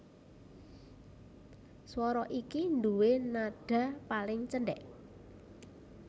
Swara iki nduwé nadha paling cendhèk